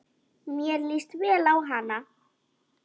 Mér líst vel á hana.